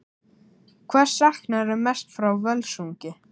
Hvers saknarðu mest frá Völsungi?